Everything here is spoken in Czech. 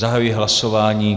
Zahajuji hlasování.